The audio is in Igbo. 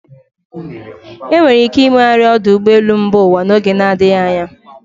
Enwere ike imegharị ọdụ ụgbọelu mba ụwa n'oge na adịghị anya.